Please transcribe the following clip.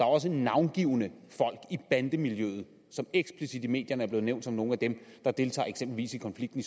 også navngivne folk i bandemiljøet som eksplicit i medierne er blevet nævnt som nogle af dem der deltager eksempelvis i konflikten i